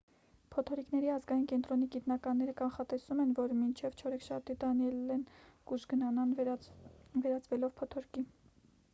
փոթորիկների ազգային կենտրոնի գիտնականները կանխատեսում են որ մինչև չորեքշաբթի դանիելլեն կուժգնանա վերածվելով փոթորկի